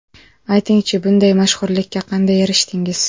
Aytingchi, bunday mashhurlikka qanday erishdingiz?